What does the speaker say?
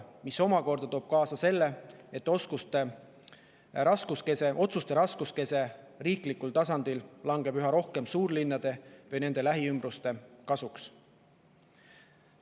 See toob omakorda kaasa selle, et riikliku tasandi otsused langevad üha rohkem suurlinnade või nende lähiümbruste kasuks.